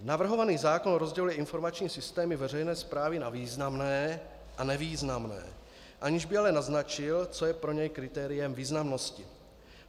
Navrhovaný zákon rozděluje informační systémy veřejné správy na významné a nevýznamné, aniž by ale naznačil, co je pro něj kritériem významnosti.